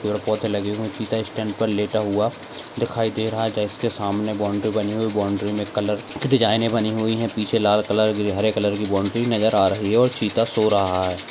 पेड़पौधे लगे हुए चित्ता स्टैंड पर लेटा हुआ दिखाई दे रहा के सामने बाउन्ड्री हुई है बाउन्ड्री मे कलर डिज़ाइन ने बनी हुई है पीछे लाल कलर की हरे कलर की बाउन्ड्री नजर आ रही है और चित्ता सो रहा है।